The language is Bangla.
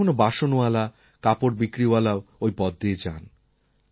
কখনও কখনও বাসনওয়ালা কাপড় বিক্রিওয়ালাও ওই পথ দিয়ে যান